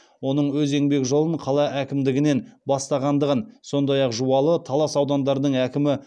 оның өз еңбек жолын қала әкімдігінен бастағандығын сондай ақ жуалы талас аудандарының әкімі